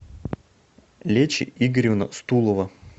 лечи игоревна стулова